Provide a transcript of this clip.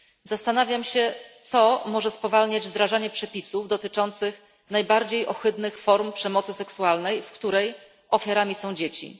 Zastanawiam się, co może spowalniać wdrażanie przepisów dotyczących najbardziej ohydnych form przemocy seksualnej, w której ofiarami są dzieci.